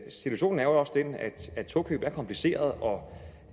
situationen er jo også den at et togkøb er kompliceret og